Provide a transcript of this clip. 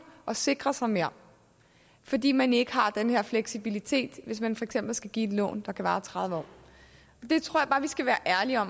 og sikre sig mere fordi man ikke har den her fleksibilitet hvis man for eksempel skal give et lån der kan vare tredive år jeg tror bare vi skal være ærlige og